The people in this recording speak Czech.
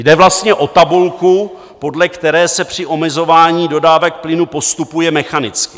Jde vlastně o tabulku, podle které se při omezování dodávek plynu postupuje mechanicky.